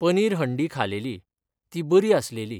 पनीर हंडी खालेली, ती बरी आसलेली.